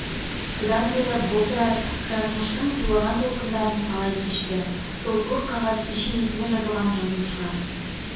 содан бері бұл тұрар жазмыштың тулаған толқындарын талай кешті сол көк қағаз пешенесіне жазылған жазу шығар